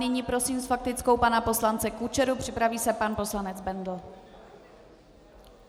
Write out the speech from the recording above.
Nyní prosím s faktickou pana poslance Kučeru, připraví se pan poslanec Bendl.